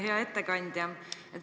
Hea ettekandja!